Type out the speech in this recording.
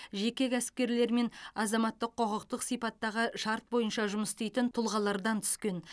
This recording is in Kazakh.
жеке кәсіпкерлер мен азаматтық құқықтық сипаттағы шарт бойынша жұмыс істейтін тұлғалардан түскен